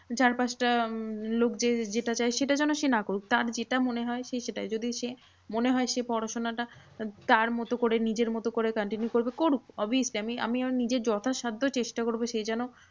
চারপাঁচটা উম লোকের যেটা চায় সেটা যেন সে না করুক। তার যেটা মনে হয় সে সেটাই যদি সে মনে হয় সে পড়াশোনাটা তার মতো করে নিজের মতো করে continue করবে করুক। obviously আমি আমার নিজের যথাসাদ্ধ চেষ্টা করবো সে যেন